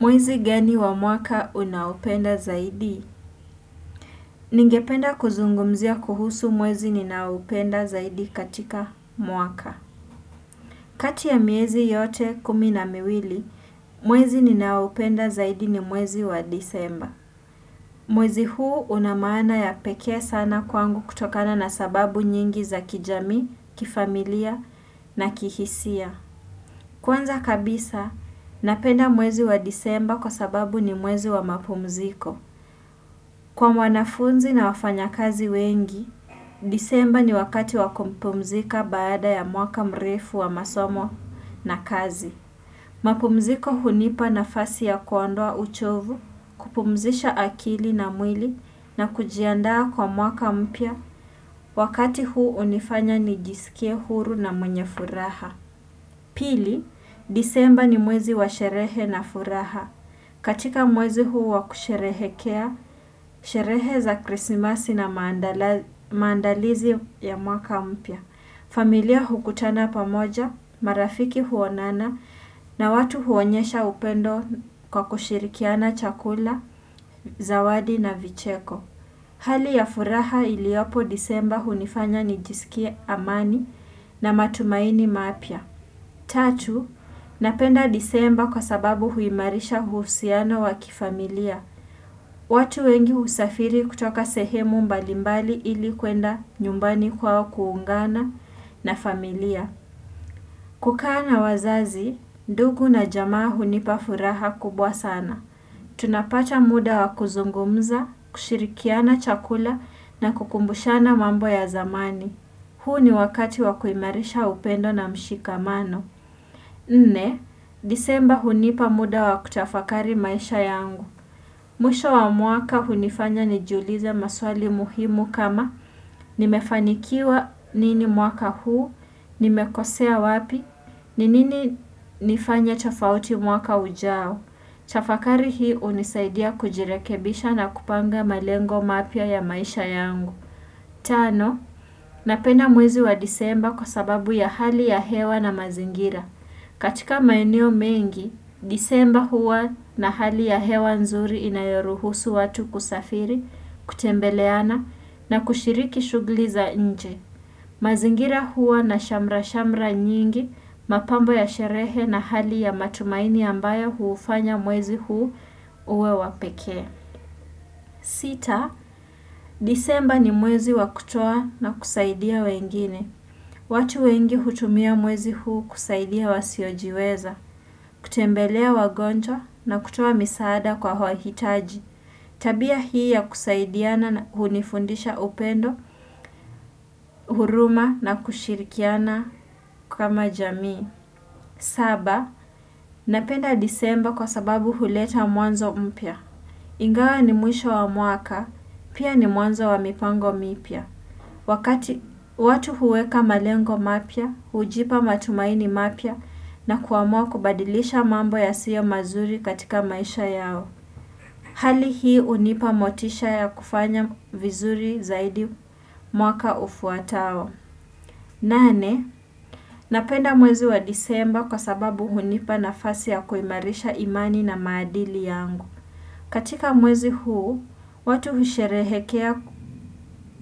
Mwezi gani wa mwaka unaupenda zaidi? Ningependa kuzungumzia kuhusu mwezi ninaupenda zaidi katika mwaka. Kati ya miezi yote kuminamiwili, mwezi ninaupenda zaidi ni mwezi wa disemba. Mwezi huu unamana ya peke sana kwangu kutokana na sababu nyingi za kijami, kifamilia na kihisia. Kwanza kabisa, napenda mwezi wa disemba kwa sababu ni mwezi wa mapumziko. Kwa mwanafunzi na wafanya kazi wengi, disemba ni wakati wakumpumzika baada ya mwaka mrefu wa masomo na kazi. Mapumziko hunipa na fasi ya kuondoa uchovu, kupumzisha akili na mwili na kujiandaa kwa mwaka mpya, wakati huu unifanya nijisikie huru na mwenye furaha. Pili, disemba ni mwezi wa sherehe na furaha. Katika mwezi huu wa kusherehekea, sherehe za krisimasi na maandalizi ya mwaka mpya. Familia hukutana pamoja, marafiki huonana na watu huonyesha upendo kwa kushirikiana chakula, zawadi na vicheko. Hali ya furaha iliopo disemba hunifanya nijisikie amani na matumaini mapya. Tatu, napenda disemba kwa sababu huimarisha huusiano wakifamilia. Watu wengi usafiri kutoka sehemu mbalimbali ili kwenda nyumbani kwao kuungana na familia. Kukaa na wazazi, ndugu na jamaa hunipafuraha kubwa sana. Tunapata muda wakuzungumza, kushirikiana chakula na kukumbushana mambo ya zamani. Huu ni wakati wakuimarisha upendo na mshika mano. Nne, disemba hunipa muda wakutafakari maisha yangu. Mwisho wa mwaka hunifanya nijuliza maswali muhimu kama nimefanikiwa nini muaka huu, nimekosea wapi, ninini nifanye tofauti mwaka ujao. Tafakari hii unisaidia kujirekebisha na kupanga malengo mapya ya maisha yangu Tano, napena mwezi wa disemba kwa sababu ya hali ya hewa na mazingira katika mainio mengi, disemba huwa na hali ya hewa nzuri inayoruhusu watu kusafiri, kutembeleana na kushiriki shugli za nje mazingira huwa na shamra-shamra nyingi, mapambo ya sherehe na hali ya matumaini ambayo huufanya mwezi huu uwe wapeke. Sita, disemba ni mwezi wakutoa na kusaidia wengine. Watu wengi hutumia mwezi huu kusaidia wasiojiweza, kutembelea wagonjwa na kutoa misada kwa wahitaji. Tabia hii ya kusaidiana na hunifundisha upendo, huruma na kushirikiana kama jamii. Saba, napenda disemba kwa sababu huleta mwanzo mpya. Ingawa ni mwisho wa muaka, pia ni mwanzo wa mipango mipya. Wakati watu huweka malengo mapya, ujipa matumaini mapya na kuamua kubadilisha mambo ya siyo mazuri katika maisha yao. Hali hii unipa motisha ya kufanya vizuri zaidi mwaka ufuatao nane, napenda mwezi wa disemba kwa sababu hunipa nafasi ya kuimarisha imani na maadili yangu. Katika mwezi huu,